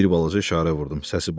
Bir balaca işarə vurdum, səsi batdı.